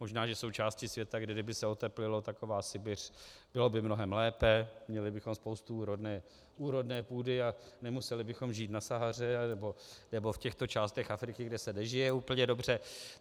Možná že jsou části světa, kde kdyby se oteplilo, taková Sibiř, bylo by mnohem lépe, měli bychom spoustu úrodné půdy a nemuseli bychom žít na Sahaře nebo v těchto částech Afriky, kde se nežije úplně dobře.